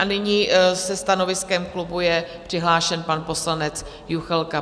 A nyní se stanoviskem klubu je přihlášen pan poslanec Juchelka.